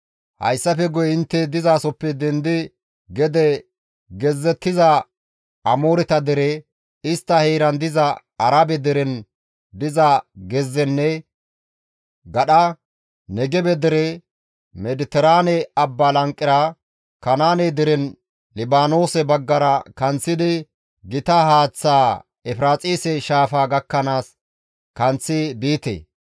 hayssafe guye intte dizasoppe dendi gede gezzettiza Amooreta dere, istta heeran diza Arabe deren diza gezzenne gadha, Negebe dere, Mediteraane abbaa lanqera, Kanaane derenne Libaanoose baggara kanththidi gita haaththaa Efiraaxise shaafaa gakkanaas kanththi biite.